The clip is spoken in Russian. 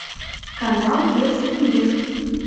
канал детский мир